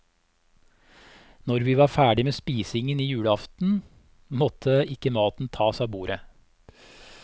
Når vi var ferdig med spisingen julaften, måtte ikke maten tas av bordet.